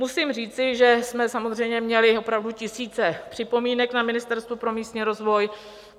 Musím říci, že jsme samozřejmě měli opravdu tisíce připomínek na Ministerstvu pro místní rozvoj.